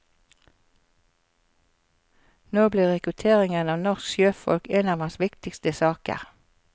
Når blir rekruttering av norsk sjøfolk en av hans viktigste saker.